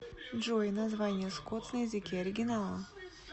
джой название скотс на языке оригинала